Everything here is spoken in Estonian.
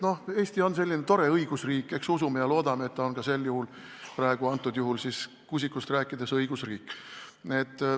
Eesti on selline tore õigusriik, nii et eks usume ja loodame, et ta on ka praegu – antud juhul Kuusikust rääkides – õigusriik.